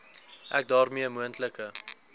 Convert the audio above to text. ek daarmee moontlike